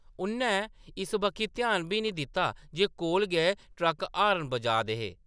उʼन्नै इस बक्खी ध्यान बी निं दित्ता जे कोल गै ट्रक्क हार्न बजाऽ दे हे ।